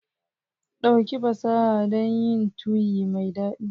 Ɗauki fasaha dun yin tuyi mai dadi.